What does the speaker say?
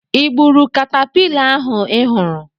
Ị gburu katapila ahụ ị hụrụ?